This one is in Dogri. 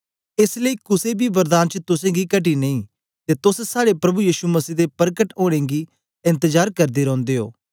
एस लेई कुसे बी वरदान च तुसेंगी घटी नेई ते तोस साड़े प्रभु यीशु मसीह दे परकट ओनें गी एन्तजार करदे रौंदे ओ